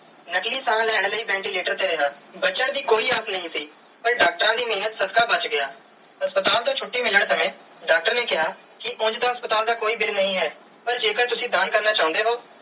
ਨਕਲੀ ਸਾਹ ਲੈਣ ਲਾਇ ventilator ਤੇ ਰਿਆ ਬਚਨ ਦੀ ਕੋਈ ਆਗਿਆ ਨਾਈ ਸੀ ਪਾਰ ਡਾਕਟਰਾਂ ਦੇ ਮੇਹਰ ਸਦਕਾ ਬਚ ਗਿਆ ਹਸਪਤਾਲ ਤੂੰ ਛੁਟੀ ਮਿਲਣ ਤੇ ਡਾਕਟਰ ਨੇ ਕੀਆ ਕਿ ਉਂਜ ਤੇ ਹਸਪਤਾਲ ਦਾ ਕੋਈ bill ਨਾਈ ਹੈ ਪਾਰ ਜੇ ਕਰ ਤੁਸੀਂ ਦਾਨ ਕਰਨਾ ਚਾਨੇ ਹੋ.